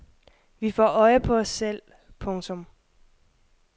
Vi får øje på os selv. punktum